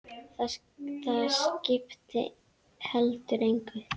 Það skipti heldur engu.